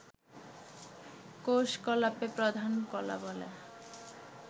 কোষকলাকে প্রধান কলা বলে